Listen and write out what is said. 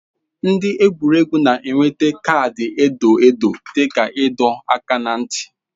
Ndị egwuregwu na-enweta kaadị edo edo dị ka ịdọ aka ná ntị.